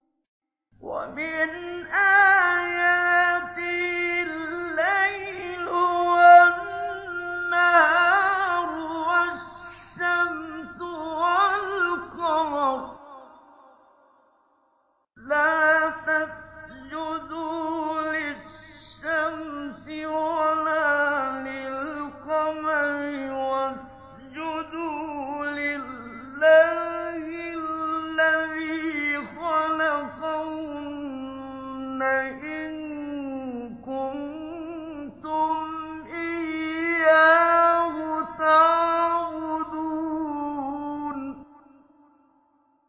وَمِنْ آيَاتِهِ اللَّيْلُ وَالنَّهَارُ وَالشَّمْسُ وَالْقَمَرُ ۚ لَا تَسْجُدُوا لِلشَّمْسِ وَلَا لِلْقَمَرِ وَاسْجُدُوا لِلَّهِ الَّذِي خَلَقَهُنَّ إِن كُنتُمْ إِيَّاهُ تَعْبُدُونَ